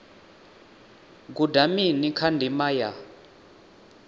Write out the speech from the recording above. guda mini kha ndima ya